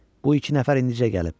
Bu iki nəfər indicə gəlib.